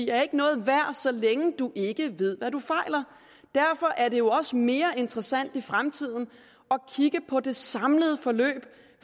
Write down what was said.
er ikke noget værd så længe du ikke ved hvad du fejler derfor er det jo også mere interessant i fremtiden at kigge på det samlede forløb